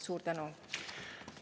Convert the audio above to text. Suur tänu!